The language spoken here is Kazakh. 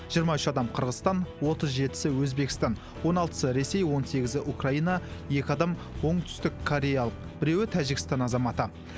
жиырма үш адам қырғызстан отыз жетісі өзбекстан он алтысы ресей он сегізі украина екі адам оңтүстіккореялық біреуі тәжікстан азаматы